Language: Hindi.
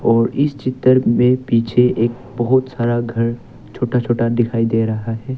और इस चित्र में पीछे एक बहुत सारा घर छोटा छोटा दिखाई दे रहा है।